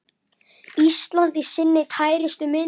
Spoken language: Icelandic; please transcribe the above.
Ísland í sinni tærustu mynd.